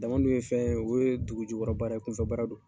Dama dun ye fɛn ye o ye dugujukɔrɔ baara ye kunfɛbaara don.